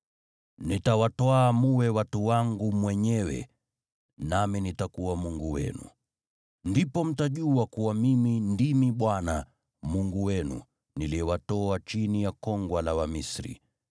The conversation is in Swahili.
Nitawatwaa mwe watu wangu mwenyewe, nami nitakuwa Mungu wenu. Ndipo mtajua kuwa mimi ndimi Bwana Mungu wenu, niliyewatoa chini ya kongwa la Wamisri.